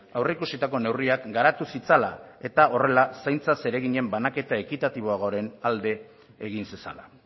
aurreikusitako neurriak garatu zitzala eta horrela zaintza zereginen banaketa ekitatiboagoaren alde egin zezala